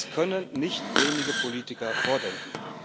Das können nicht wenige Politiker vordenken.